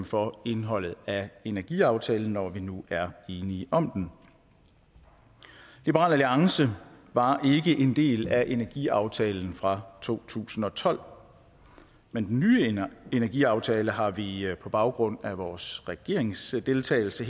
for indholdet af energiaftalen når vi nu er enige om den liberal alliance var ikke en del af energiaftalen fra to tusind og tolv men den nye energiaftale har vi på baggrund af vores regeringsdeltagelse